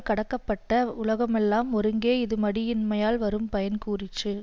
கடக்கப்பட்ட வுலகமெல்லாம் ஒருங்கே இது மடியின்மையால் வரும் பயன் கூறிற்று